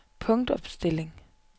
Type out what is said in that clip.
punktopstilling